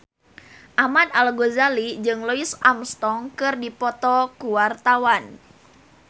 Ahmad Al-Ghazali jeung Louis Armstrong keur dipoto ku wartawan